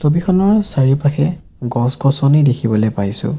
ছবিখনৰ চাৰিওপাশে গছ-গছনি দেখিবলে পাইছোঁ।